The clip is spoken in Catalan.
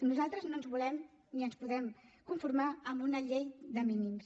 nosaltres no ens volem ni ens podem conformar amb una llei de mínims